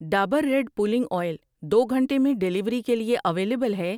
Dabur red pulling oil دو گھنٹے میں ڈیلیوری کے لیے اویلیبل ہے؟